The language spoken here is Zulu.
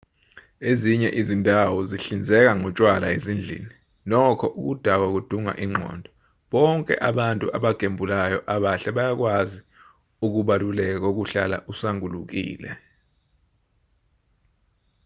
ezinye izindawo zihlinzeka ngotshwala ezindlini nokho ukudakwa kudunga ingqondo bonke abantu abagembulayo abahle bayakwazi ukubaluleka kokuhlala usangulukile